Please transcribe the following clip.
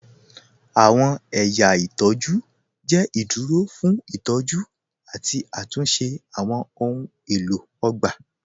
Awọn ẹ̀yà itọju jẹ iduro fun itọju ati atunṣe awọn ohun elo ogba.